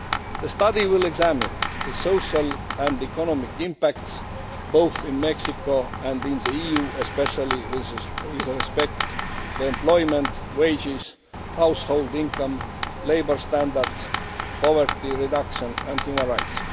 The study will examine the social and economic impacts, both in Mexico and in the EU, especially with respect to employment, wages, household income, labour standards, poverty reduction and human rights.